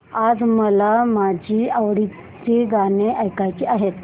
आज मला माझी आवडती गाणी ऐकायची आहेत